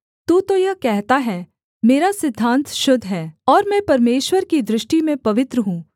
तू तो यह कहता है मेरा सिद्धान्त शुद्ध है और मैं परमेश्वर की दृष्टि में पवित्र हूँ